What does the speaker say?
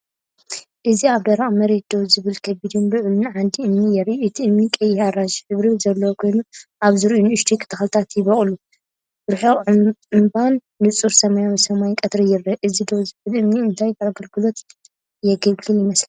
እዚ ኣብ ደረቕ መሬት ደው ዝበለ ከቢድን ልዑልን ዓንዲ እምኒ የርኢ። እቲ እምኒ ቀይሕ-ኣራንሺ ሕብሪ ዘለዎ ኮይኑ፡ ኣብ ዙርያኡ ንኣሽቱ ተኽልታት ይበቁሉ። ርሑቕ እምባን ንጹር ሰማያዊ ሰማይ ቀትሪን ይርአ። እዚ ደው ዝበለ እምኒ እንታይ ኣገልግሎት የገልግል ይመስለኩም?